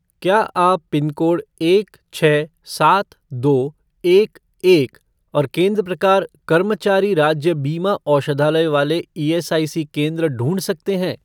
क्या आप पिनकोड एक छः सात दो एक एक और केंद्र प्रकार कर्मचारी राज्य बीमा औषधालय वाले ईएसआईसी केंद्र ढूँढ सकते हैं?